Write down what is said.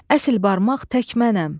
Əsl barmaq tək mənəm.